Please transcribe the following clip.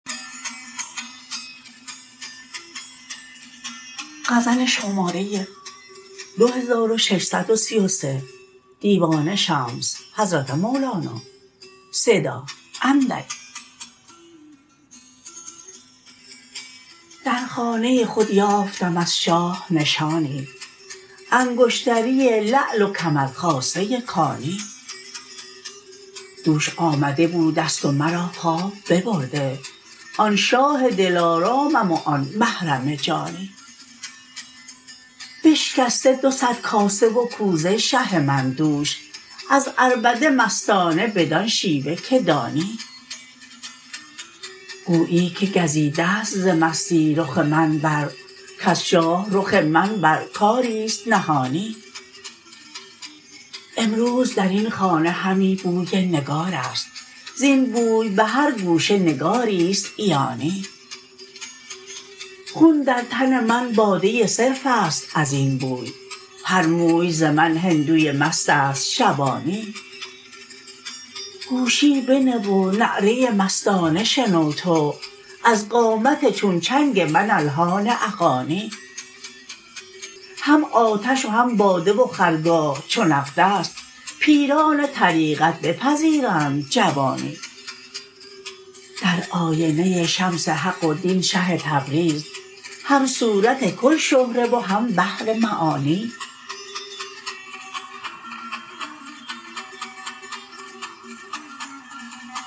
در خانه خود یافتم از شاه نشانی انگشتری لعل و کمر خاصه کانی دوش آمده بوده ست و مرا خواب ببرده آن شاه دلارامم و آن محرم جانی بشکسته دو صد کاسه و کوزه شه من دوش از عربده مستانه بدان شیوه که دانی گویی که گزیده ست ز مستی رخ من بر کز شاه رخ من بر کاری است نهانی امروز در این خانه همی بوی نگار است زین بوی به هر گوشه نگاری است عیانی خون در تن من باده صرف است از این بوی هر موی ز من هندوی مست است شبانی گوشی بنه و نعره مستانه شنو تو از قامت چون چنگ من الحان اغانی هم آتش و هم باده و خرگاه چو نقد است پیران طریقت بپذیرند جوانی در آینه شمس حق و دین شه تبریز هم صورت کل شهره و هم بحر معانی